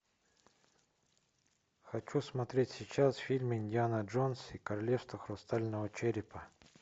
хочу смотреть сейчас фильм индиана джонс и королевство хрустального черепа